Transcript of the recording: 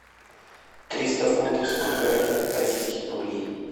триста фунтов сколько это российских рублей